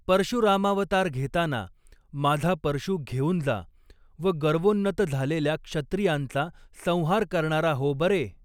परशुरामावतार घेताना माझा परशू घेऊन जा व गर्वोन्नत झालेल्या क्षत्रियांचा संहार करणारा हो बरे